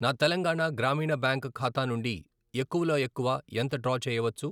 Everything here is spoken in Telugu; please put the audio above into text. నా తెలంగాణ గ్రామీణ బ్యాంక్ ఖాతా నుండి ఎక్కువ లో ఎక్కువ ఎంత డ్రా చేయవచ్చు?